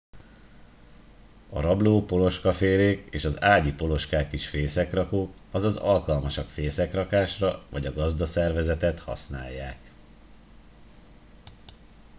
a rabló poloskafélék és az ágyi poloskák is fészekrakók azaz alkalmasak fészekrakásra vagy a gazdaszervezetet használják